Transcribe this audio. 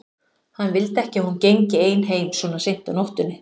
Hann vildi ekki að hún gengi ein heim svona seint á nóttunni.